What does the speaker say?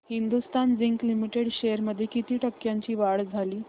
Hindustan Zinc Limited shares मध्ये किती टक्क्यांची वाढ झाली